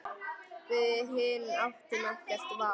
Við hin áttum ekkert val.